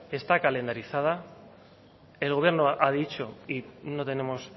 está calendarizada el gobierno ha dicho y no tenemos